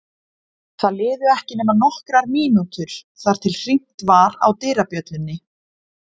Það liðu ekki nema nokkrar mínútur þar til hringt var á dyrabjöllunni.